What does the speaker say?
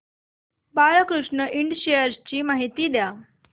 Balkrishna Ind shares ची माहिती द्या